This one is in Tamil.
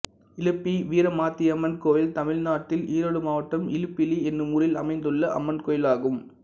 இலுப்பிலி வீரமாத்தியம்மன் கோயில் தமிழ்நாட்டில் ஈரோடு மாவட்டம் இலுப்பிலி என்னும் ஊரில் அமைந்துள்ள அம்மன் கோயிலாகும்